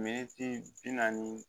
Militi bi naani